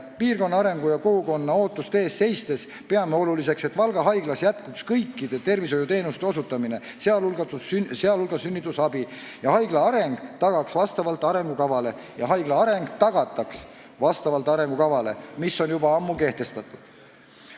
Piirkonna arengu ja kogukonna ootuste eest seistes peame oluliseks, et Valga Haiglas jätkuks kõikide tervishoiuteenuste osutamine, sh sünnitusabi, ja haigla areng tagataks vastavalt arengukavale, mis on juba ammu kehtestatud.